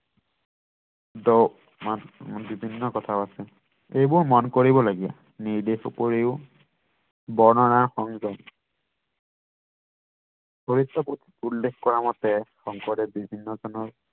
বিভিন্ন কথাও আছে এইবোৰ মন কৰিবলগীয়া নিৰ্দেশ উপৰিও বৰ্ণনা সংযম চৰিত পুঠিত উল্লেখ কৰা মতে শংকৰদেৱ বিভিন্ন জনৰ